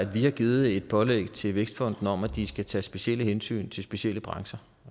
vi har givet et pålæg til vækstfonden om at de skal tage specielle hensyn til specielle brancher